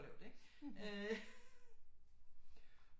Lavt ikke øh